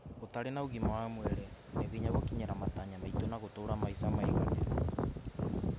ũtarĩ na ũgima wa mwĩrĩ , nĩ hinya gũkinyĩra matanya maitũ na gũtũra maica maiganĩru.